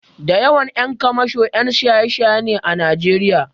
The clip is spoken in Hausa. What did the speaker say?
Da yawan ƴan kwamasho ƴan shaye-shaye ne a Najeriya.